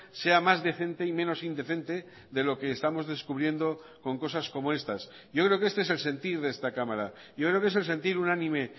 sea más decente y menos indecente de lo que estamos descubriendo con cosas como estas yo creo que este es el sentir de esta cámara yo creo que es el sentir unánime